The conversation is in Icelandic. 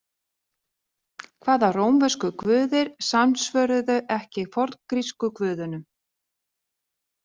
Hvaða rómversku guðir samsvöruðu ekki forngrísku guðunum?